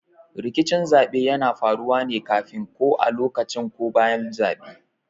Rikicin zaɓe yana faruwa ne kafin, ko a lokacin ko bayan zaben.